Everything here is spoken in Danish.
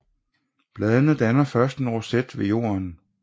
Bladene danner først en roset ved jorden